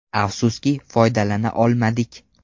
Afsuski, foydalana olmadik.